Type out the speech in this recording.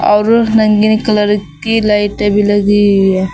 और रगीनि कलर की लाइटे भी लगी हुई है।